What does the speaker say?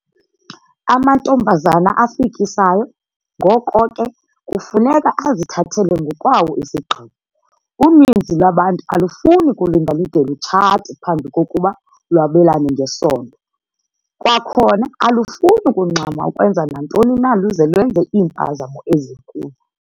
Amantombazana afikisayo, ngoko ke, kufuneka azithathele ngokwawo isigqibo. Uninzi lwabantu alufuni kulinda lude lutshate phambi kokuba lwabelane ngesondo. Kwakhona alufuni kungxama ukwenza nantoni na luze lwenze iimpazamo ezinkulu.